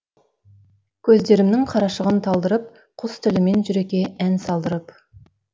көздерімнің қарашығын талдырып құс тілімен жүрекке ән салдырып